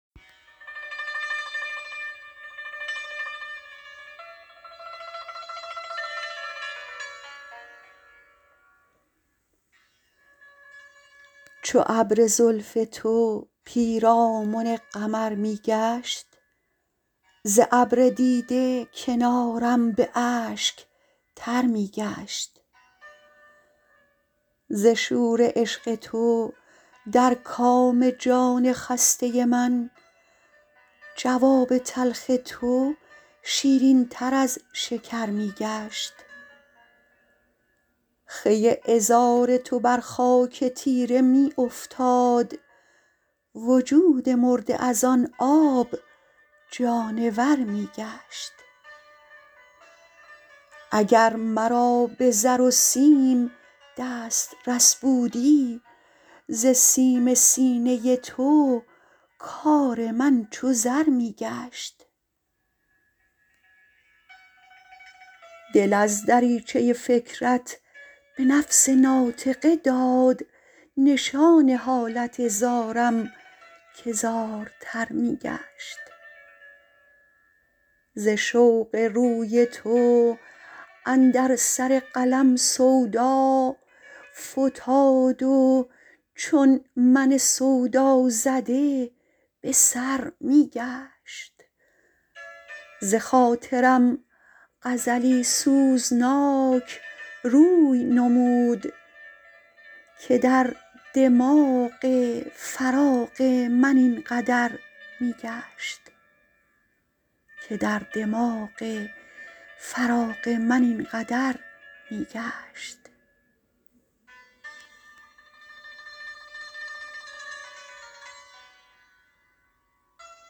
چو ابر زلف تو پیرامن قمر می گشت ز ابر دیده کنارم به اشک تر می گشت ز شور عشق تو در کام جان خسته من جواب تلخ تو شیرین تر از شکر می گشت خوی عذار تو بر خاک تیره می افتاد وجود مرده از آن آب جانور می گشت اگر مرا به زر و سیم دسترس بودی ز سیم سینه تو کار من چو زر می گشت دل از دریچه فکرت به نفس ناطقه داد نشان حالت زارم که زارتر می گشت ز رشک قد تو اندر سر قلم سودا فتاد و چون من سودازده به سر می گشت بخاطرم غزلی سوزناک روی نمود که در دماغ خیال من این قدر می گشت